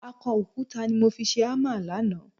Akọ òkúta ni mo fi ṣe hámà lánàá